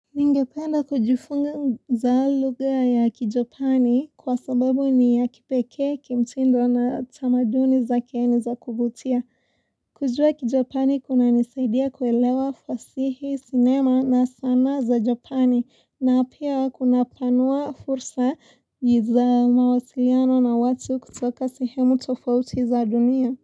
Ningependa kujufunza za lugha ya kijapani kwa sababu ni ya kipekee kimtindo na tamaduni zake ni za kuvutia. Kujua kijapani kuna nisaidia kuelewa fasihi sinema na sanaa za japani na pia kuna panua fursa za mawasiliano na watu kutoka sehemu tofauti za dunia.